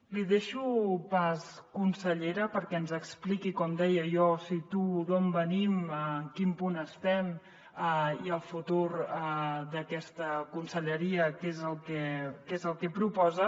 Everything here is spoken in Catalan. li deixo pas consellera perquè ens expliqui com deia jo situo d’on venim en quin punt estem el futur d’aquesta conselleria què és el que proposa